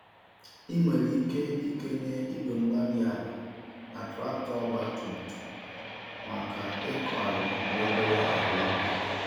Ị nwere ike ikenye Igwe-mgbárí-ala na traktọ ọgba tum tum maka ịkọ ala na obere àlà ubi